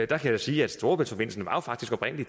der kan jeg sige at storebæltsforbindelsen faktisk oprindelig